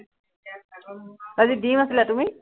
আজি ডিম আছিলে, তুমি?